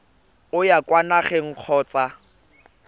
o ya kwa nageng kgotsa